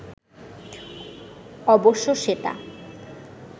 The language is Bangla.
অবশ্য সেটা